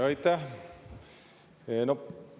Aitäh!